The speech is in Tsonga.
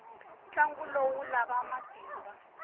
ntlangu lowu wu lava matimba